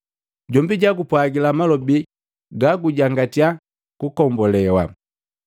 Jombi jakupwagila malobi ga gagujangatya kugombolewa.’